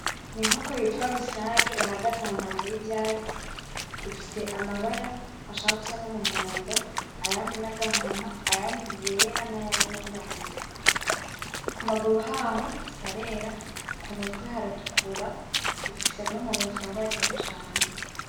Inkoko bita rusake ihagaze ahantu hateye ivyatsi, ifise amabara ashaka gusa n'Umuhondo, ayandi nagahama, ayandi yera nayirabura kumaguru haho harera, kumutwe haratukura ifise n'Umunwa usongoye Atari cane.